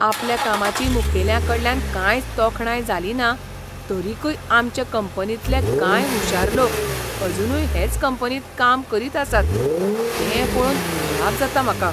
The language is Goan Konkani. आपल्या कामाची मुखेल्यांकडल्यान कांयच तोखणाय जालिना, तरीकय आमचे कंपनींतले कांय हुशार लोक अजूनय हेच कंपनींत काम करीत आसात तें पळोवन अजाप जाता म्हाका.